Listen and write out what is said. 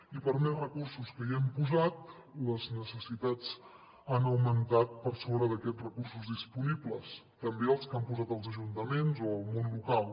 i per més recursos que hi hem posat les necessitats han augmentat per sobre d’aquests recursos disponibles també els que hi han posat els ajuntaments o el món local